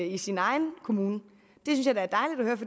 i sin egen kommune